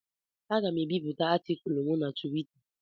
Aga m ebipụta atịkulụ m na Twita.